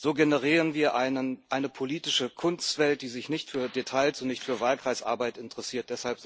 So generieren wir eine politische Kunstwelt, die sich nicht für Details und nicht für Wahlkreisarbeit interessiert.